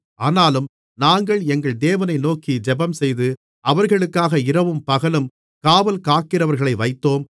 ஆனாலும் நாங்கள் எங்கள் தேவனை நோக்கி ஜெபம்செய்து அவர்களுக்காக இரவும்பகலும் காவல் காக்கிறவர்களை வைத்தோம்